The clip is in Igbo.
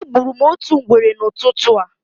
Egburu m otu ngwere n'ụtụtụ a.